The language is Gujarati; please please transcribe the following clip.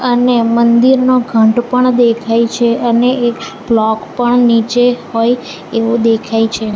અને મંદિરનો ઘંટ પણ દેખાય છે અને એક બ્લોક પણ નીચે હોય એવુ દેખાય છે.